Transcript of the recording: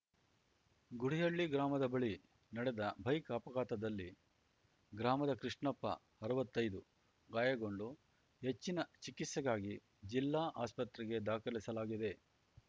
ಗುಡಿಹಳ್ಳಿ ಗ್ರಾಮದ ಬಳಿ ನಡೆದ ಬೈಕ್‌ ಅಪಘಾತದಲ್ಲಿ ಗ್ರಾಮದ ಕೃಷ್ಣಪ್ಪಅರ್ವತ್ತೈದು ಗಾಯಗೊಂಡು ಹೆಚ್ಚಿನ ಚಿಕಿತ್ಸೆಗಾಗಿ ಜಿಲ್ಲಾ ಆಸ್ಪತ್ರೆಗೆ ದಾಖಲಿಸಲಾಗಿದೆ